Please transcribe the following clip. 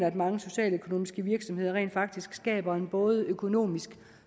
at mange socialøkonomiske virksomheder rent faktisk skaber en både økonomisk